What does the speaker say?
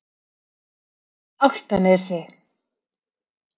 Álftanesi